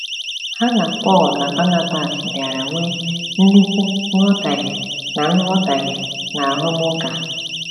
Ha na Pọl na Banabas bịara nwee nnukwu nghọtahie na nghọtahie na arụmụka!